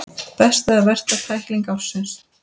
Besta eða versta tækling ársins?